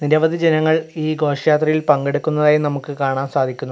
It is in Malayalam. നിരവധി ജനങ്ങൾ ഈ ഘോഷയാത്രയിൽ പങ്കെടുക്കുന്നതായി നമുക്ക് കാണാൻ സാധിക്കുന്നു.